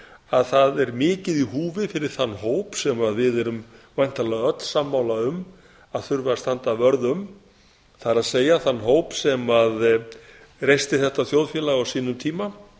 að það er mikið í húfi fyrir þann hóp sem við erum væntanlega öll sammála um að þurfi að standa vörð um það er þann hóp sem reisti þetta þjóðfélag á sínum tíma